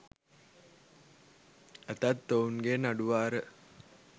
ඇතත් ඔවුන් ගේ නඩු වාර